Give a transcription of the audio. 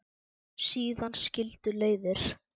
Síðan skildu leiðir.